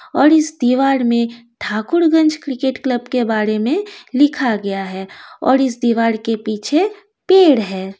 और इस दीवाल मैं ठाकुर गंज क्रिकेट क्लब के बारे मैं लिखा गया है और इस दीवाल के पीछे पेड़ है।